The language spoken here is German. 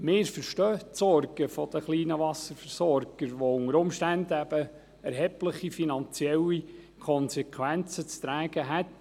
Wir verstehen die Sorgen der kleinen Wasserversorger, die unter Umständen eben erhebliche finanzielle Konsequenzen zu tragen hätten.